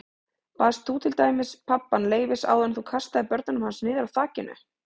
Baðst þú til dæmis pabbann leyfis áður en þú kastaðir börnunum hans niður af þakinu?